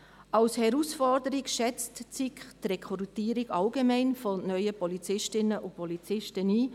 Als Herausforderung schätzt die SiK allgemein die Rekrutierung neuer Polizistinnen und Polizisten ein.